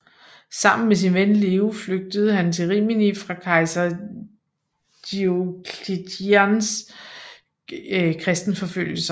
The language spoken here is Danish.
Sammen med sin ven Leo flygtede han til Rimini fra kejser Diocletians kristenforfølgelser